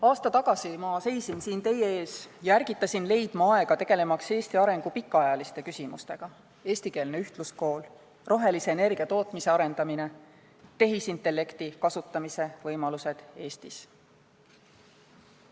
Aasta tagasi seisin ma siin teie ees ja ärgitasin leidma aega, tegelemaks Eesti arengu pikaajaliste küsimustega: eestikeelne ühtluskool, rohelise energia tootmise arendamine, tehisintellekti kasutamise võimalused Eestis.